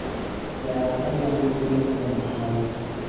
Yawu Adhiambo duto kuom hawi